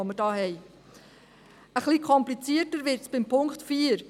Ein wenig komplizierter wird es beim Punkt 4.